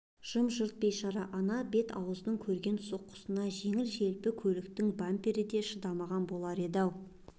жырым-жырым бейшара ана бет-ауыздың көрген соққысына жеңіл-желпі көліктің бампер де шыдамаған болар еді-ау